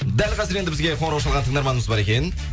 дәл қазір енді бізге қоңырау шалған тыңдарманымыз бар екен